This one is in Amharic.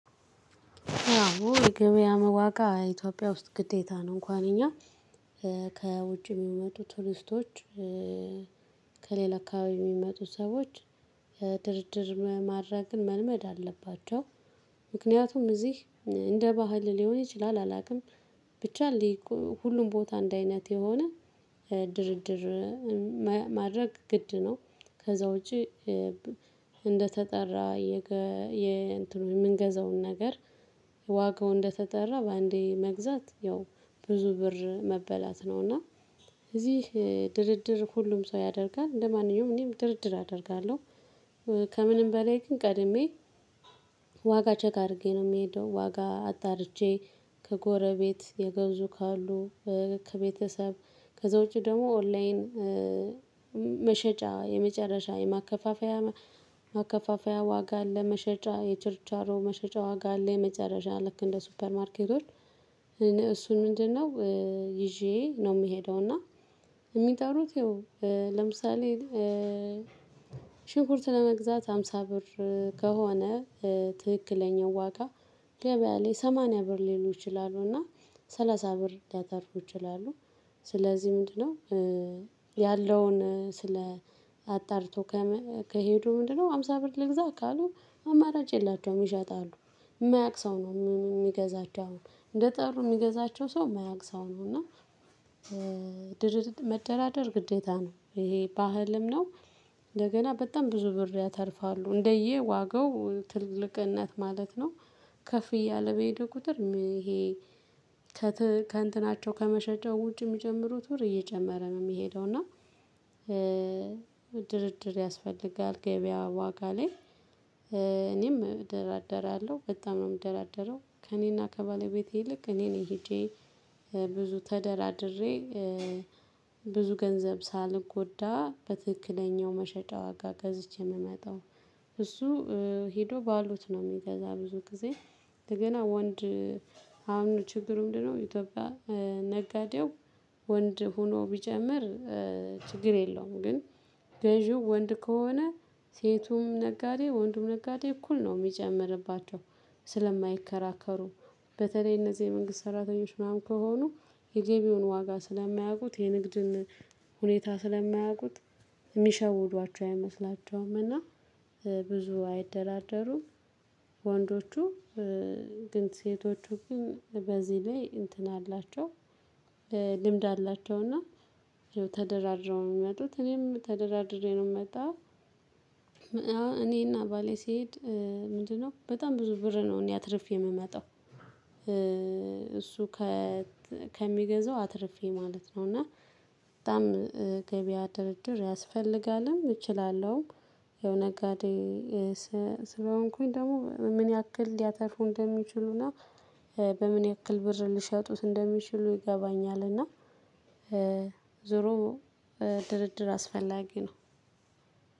አው የገብያም ዋጋ ኢትዮጵያ ውስጥ ግዴታ ነው እንኳን እኛ ከውጭ የሚመጡ ቱሪስቶች ከሌላ አከባቢ የሚመጡ ሰዎች ድርድር ማድረግን መልመድ አለባቸው። ምክንያቱም እዚህ እንደ ባህል ሊሆን ይችላል አላውቅም። ብቻ ሊጉ ሁሉም ቦታ አንድ አይነት የሆነ ድርድር ማድረግ ግድ ነው። ከዛ ውጪ። እንደተጠራ የገ የእንትኑ የምንገዛውን ነገር ዋጋው እንደተጠራ በአንዴ መግዛት ያው ብዙ ብር መበላት ነው። እና እዚህ ድርድር ሁሉም ሰው ያደርጋል ለማንኛውም እኔም ድርድር አደርጋለሁ። ከምንም በላይ ግን ቀድሜ ዋጋ ቼክ አድርጌ ነው የምሄደው። ዋጋ አጣርቼ ከጎረቤት የገዙ ካሉ ከቤተሰብ ከዛ ውጪ ደግሞ ኦንላይን መሸጫ የመጨረሻ የማከፋፈያ ማከፋፈያ ዋጋ አለ መሸጫ የችርቻሮ መሸጫ ዋጋ አለ የመጨረሻ ልክ እንደ ሱፐር ማርኬቶች። እሱን ምንድነው? ይዤ ነው የምሄደው። እና የሚጠሩት ይሄው ለምሳሌ ሽንኩርት ለመግዛት ሃምሳ ብር ከሆነ ትክክለኛው ዋጋ ገበያ ላይ ሰማንያ ብር ሊሉ ይችላሉና ሰላሳ ብር ሊያተርፉ ይችላሉ። ስለዚህ ምንድነው? ያለውን ስለ አጣርቶ ከሄዱ ምንድነው ሃምሳ ብር ልግዛ ካሉ አማራጭ የላቸውም ይሸጣሉ። የማያውቅ ሰው ነው የሚገዛቸው አሁን እንደ ጠሩ የሚገዛቸው ሰው የማያቅ ሰው ነው እና ድርድር መደራደር ግዴታ ነው። ይሄ ባህልም ነው። እንደገና በጣም ብዙ ብር ያተርፋሉ እንደየ ዋጋው ትልቅነት ማለት ነው። ከፍ እያለ በሄደ ቁጥር ይሄ ከእንትናቸው ከመሸጫው ውጭ የሚጨምሩት ብር እየጨመረ ነው የሚሄደው እና። ድርድር ያስፈልጋል ገበያ ዋጋ ላይ እኔም እደራደራለሁ በጣም ነው የምደራደረው። ከእኔና ከባለቤቴ ይልቅ እኔ ነኝ ሄጄ ብዙ ተደራድሬ ብዙ ገንዘብ ሳልጎዳ በትክክለኛው መሸጫ ዋጋ ገዝቼ የምመጣው። እሱ ሄዶ ባሉት ነው የሚገዛ ብዙ ጊዜ። እንደገና ወንድ አሁን ችግሩ ምንድነው? ኢትዮጵያ ነጋዴው ወንድ ሆኖ ቢጨምር ችግር የለውም። ግን ገዢው ወንድ ከሆነ ሴቱም ነጋዴ ወንዱም ነጋዴ እኩል ነው የሚጨምርባቸው። ስለማይከራከሩ በተለይ እነዚህ የመንግስት ሰራተኞች ምናምን ከሆኑ የገቢያውን ዋጋ ስለማያውቁት የንግድን ሁኔታ ስለማያውቁት የሚሸውዷቸው አይመስላቸውም እና ብዙ አይደራደሩም። ወንዶቹ ግን ሴቶቹ ግን በዚህ ላይ እንትን አላቸው ልምድ አላቸው። እና ተደራድረው ነው የሚመጡት እኔም ተደራድሬ ነው የምመጣ። አሁን እኔና ባሌ ስሄድ ምንድነው በጣም ብዙ ብር ነው እኔ አትርፌ የምመጣው። እሱ ከ ከሚገዛው አትርፌ ማለት ነው። እና በጣም ገበያ ድርድር ያስፈልጋልም እችላለሁም። ያው ነጋዴ ስለሆንኩኝ ደግሞ ምን ያክል ሊያተርፉ እንደሚችሉና በምን ያክል ብር ሊሸጡት እንደሚችሉ ይገባኛል። እና ዙሮ ድርድር አስፈላጊ ነው።